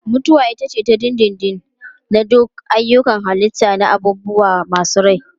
Mutuwa ita ce ta dindindin na duk ayyukan halitta na abubuwa masu rai.